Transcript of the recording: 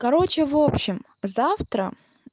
короче в общем завтра